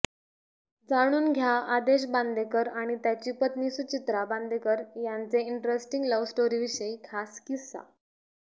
जाणून घ्या आदेश बांदेकर आणि त्याची पत्नी सुचित्रा बांदेकर यांचे इंटरेस्टिंग लव्हस्टोरीविषयी खास किस्सा